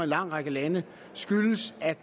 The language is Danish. lang række lande skyldes at